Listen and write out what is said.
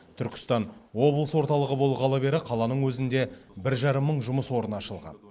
түркістан облыс орталығы болғалы бері қаланың өзінде бір жарым мың жұмыс орны ашылған